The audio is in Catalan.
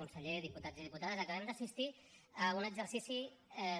conseller diputats i diputades acabem d’assistir a un exercici